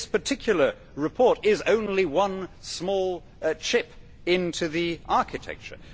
This particular report is only one small chip into the architecture.